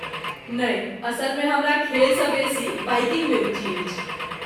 नहि, असलमे हमरा खेलसँ बेसी बाइकिंगमे रुचि अछि।